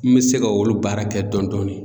N bɛ se ka olu baara kɛ dɔɔni dɔɔni.